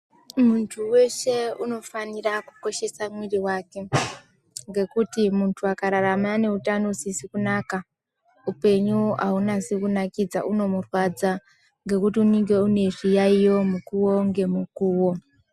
Muntu weshe unofanira kukoshesa mwiri wake ngekuti muntu akararama ane utano usizi kunaka upenyu aunasi kunakidza unomurwadza ngekuti unenge une zviyaiyo mukuwo ngemukuwo.